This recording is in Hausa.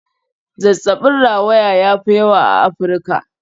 Zazzabin rawaya ya fi yawa a Afirka.